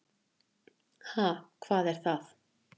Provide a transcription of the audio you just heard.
Ha, hvað er það.